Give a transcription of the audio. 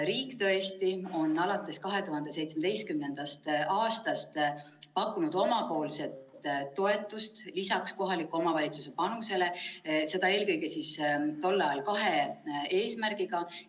Riik on alates 2017. aastast pakkunud omapoolset toetust lisaks kohaliku omavalitsuse panusele eelkõige kahe eesmärgiga.